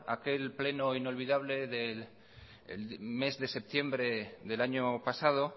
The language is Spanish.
aquel pleno inolvidable del mes de septiembre del año pasado